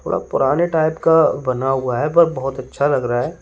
पुराने टाइप का बना हुआ है पर बहोत अच्छा लग रहा है।